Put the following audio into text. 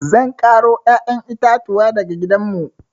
Zan ƙaro ƴaƴan itatuwa daga gidanmu.